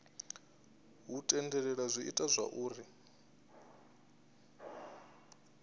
hu tendelela zwi ita zwauri